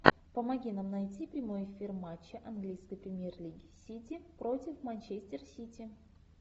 помоги нам найти прямой эфир матча английской премьер лиги сити против манчестер сити